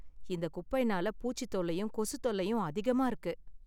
இந்த குப்பைனால பூச்சித் தொல்லையும் கொசுத் தொல்லையும் அதிகமா இருக்கு